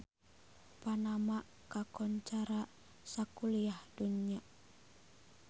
Panama kakoncara sakuliah dunya